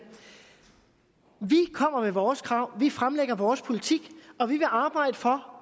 vi kommer med vores krav vi fremlægger vores politik og vi vil arbejde for